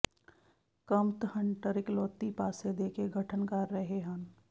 ਕਮਤ ਹੰਟਰ ਇਕਲੌਤੀ ਪਾਸੇ ਦੇ ਕੇ ਗਠਨ ਕਰ ਰਹੇ ਹਨ